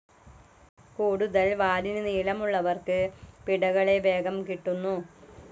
കൂടുതൽ വാലിന് നീളമുള്ളവർക്ക് പിടകളെ വേഗം കിട്ടുന്നു.